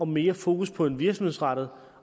mere fokus på en virksomhedsrettet